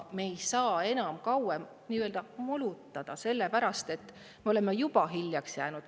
Me ei saa enam kauem nii-öelda molutada, sellepärast et me oleme juba hiljaks jäänud.